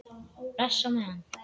Bless á meðan.